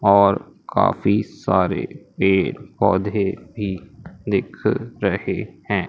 और काफी सारे पेड़ पौधे भी दिख रहे हैं।